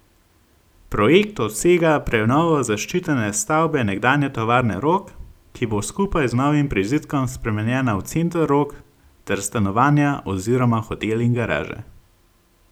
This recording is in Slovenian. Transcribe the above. Projekt obsega prenovo zaščitene stavbe nekdanje tovarne Rog, ki bo skupaj z novim prizidkom spremenjena v Center Rog ter stanovanja oziroma hotel in garaže.